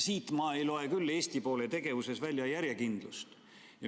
Siit ma ei loe küll Eesti poole tegevuses välja järjekindlust.